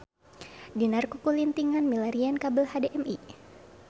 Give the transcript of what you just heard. Dinar kukulintingan milarian kabel HDMI